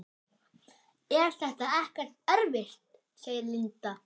Linda: Er þetta ekkert erfitt?